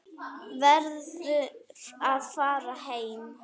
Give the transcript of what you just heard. Verður að fara heim.